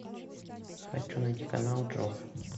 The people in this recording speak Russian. хочу найти канал джоф